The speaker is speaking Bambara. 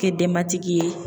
Kɛ denbatigi ye.